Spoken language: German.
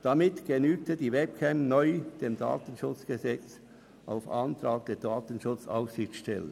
Damit genügte die Webcam auf Antrag der DSA neu dem Datenschutzgesetz.